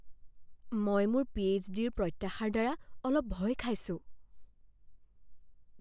মই মোৰ পিএইচডিৰ প্ৰত্যাশাৰ দ্বাৰা অলপ ভয় খাইছোঁ।